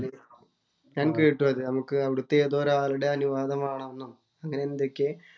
ഞാന്‍ കേട്ടു അത്. നമുക്ക് അവിടത്തെ ഏതോ ഒരാളുടെ അനുവാദം വേണം എന്നും അങ്ങനെ എന്തൊക്കെയോ